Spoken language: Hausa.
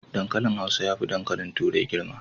Dankalin hausa yafi dankali turai girma